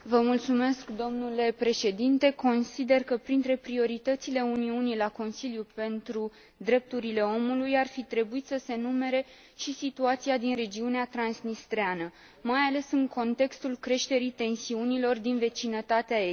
Domnule președinte, consider că printre prioritățile Uniunii la Consiliul pentru drepturile omului ar fi trebuit să se numere și situația din regiunea transnistreană, mai ales în contextul creșterii tensiunilor din vecinătatea estică.